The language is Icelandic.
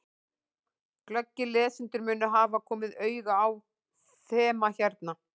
Glöggir lesendur munu hafa komið auga á þema hérna.